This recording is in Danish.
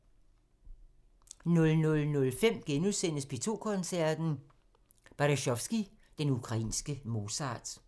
00:05: P2 Koncerten – Berezovskij – den ukrainske Mozart *